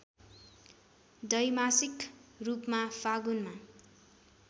द्वैमासिक रूपमा फागुनमा